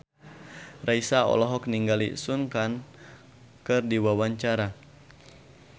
Raisa olohok ningali Sun Kang keur diwawancara